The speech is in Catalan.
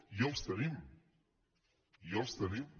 i els tenim i els tenim